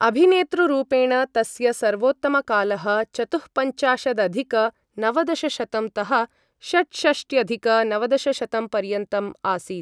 अभिनेतृ रूपेण तस्य सर्वोत्तमकालः चतुःपञ्चाशदधिक नवदशशतं तः षट्षष्ट्यधिक नवदशशतं पर्यन्तम् आसीत्।